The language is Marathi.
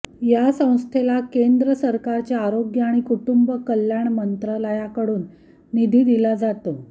या संस्थेला केंद्र सरकारच्या आरोग्य आणि कुटुंब कल्याण मंत्रालयाकडून निधी दिला जातो